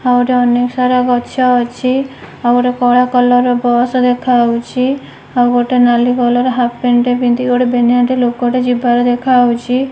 ଆହୁରି ଅନେକ ସାରା ଗଛ ଅଛି ଆଉ ଗୋଟେ କଳା କଲର ର ବସ ଦେଖା ହଉଛି ଆଉ ଗୋଟେ ନାଲି କଲର ର ହାଫ ପ୍ୟାଣ୍ଟ ଟେ ପିନ୍ଧି ଗୋଟେ ରେ ଗୋଟେ ଲୋକ ଟେ ଯିବାର ଦେଖାହଉଛି ।